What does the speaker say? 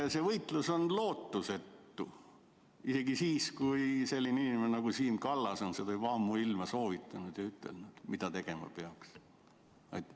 ... et see võitlus on lootusetu, isegi siis kui selline inimene nagu Siim Kallas on seda ammuilma soovitanud ja ütelnud, mida tegema peaks?